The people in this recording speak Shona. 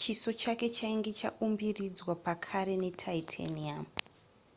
chiso chake chainge chaumbiridzwa pakare netitanium